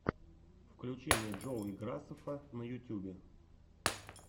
включи мне джоуи грасеффа на ютьюбе